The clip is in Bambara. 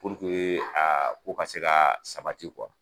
Pur ke a a ko ka sabati kuwa.